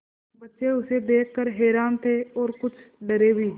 बच्चे उसे देख कर हैरान थे और कुछ डरे भी